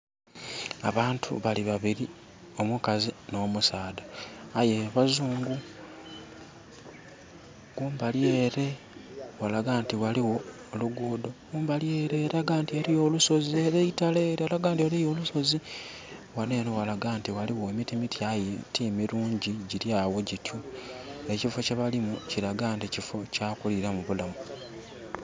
Abantu bali babiri omukazi no musaadha aye bazungu. Kumbali ere ghalaga nti ghaligho oluguudo nhi kumbali ere eitale elaga nti eriyo olusozi. Ghanho enho ghalaga nti ghaligho emiti miti aye gilaga nti timilungi. Ekifo kye balimu kilaga nti kya kuliramu bulamu.